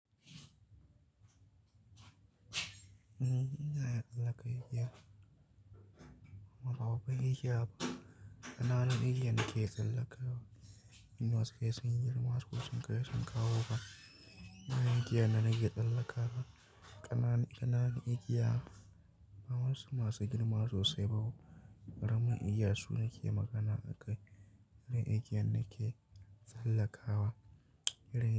Wasko sun kai sun kawo fa irin igiyar da nake tsalakawa kananun igiya ba wayansu masu girma sosai ba oh karamin igiya su nake magana a kai.